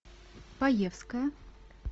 паевская